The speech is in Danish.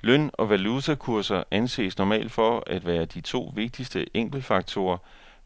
Løn og valutakurser anses normalt for at være de to vigtigste enkeltfaktorer,